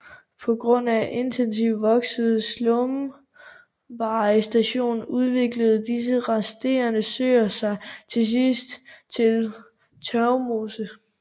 På grund af intensivt voksende sumpvegetation udviklede disse resterende søer sig til sidst til tørvmose